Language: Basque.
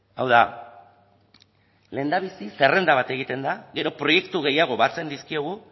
hau da lehendabizi zerrenda bat egiten da gero proiektu gehiago batzen dizkiogu